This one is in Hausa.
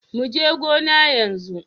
Mu je gona yanzu.